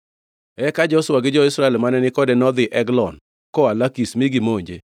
Eka Joshua gi jo-Israel mane ni kode nodhi Eglon koa Lakish mi gimonje.